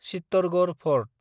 Chittorgarh fort